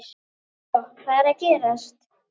Svo hvað er að gerast?